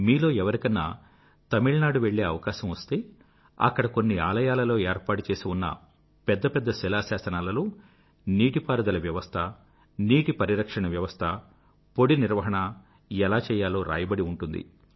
మీలో ఎవరికన్నా తమిళ్నాడు వెళ్ళే అవకాశం వస్తే అక్కడ కొన్ని ఆలయాలలో ఏర్పాటుచేసి ఉన్న పెద్ద పెద్ద శిలాశాసనాలలో నీటిపారుదల వ్యవస్థ నీటి పరిరక్షణ వ్యవస్థ పొడి నిర్వహణ ఎలా చెయ్యాలో రాయబడి ఉంటుంది